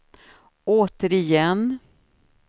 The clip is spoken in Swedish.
återigen